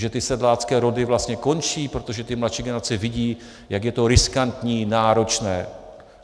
Že ty sedlácké rody vlastně končí, protože ty mladší generace vidí, jak je to riskantní, náročné?